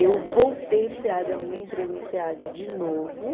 Eu voltei para o SEAD, arrumei emprego no SEAD de novo.